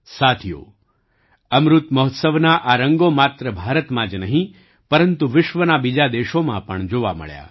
સાથીઓ અમૃત મહોત્સવના આ રંગો માત્ર ભારતમાં જ નહીં પરંતુ વિશ્વના બીજા દેશોમાં પણ જોવા મળ્યા